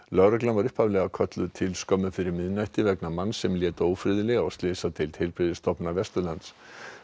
lögreglan var upphaflega kölluð til skömmu fyrir miðnætti vegna manns sem lét ófriðlega á slysadeild Heilbrigðisstofnunar Vesturlands